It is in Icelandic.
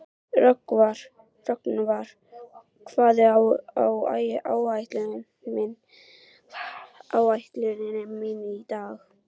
Rögnvar, hvað er á áætluninni minni í dag?